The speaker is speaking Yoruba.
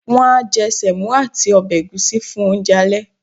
won a je semo ati obe egusi fun ounje ale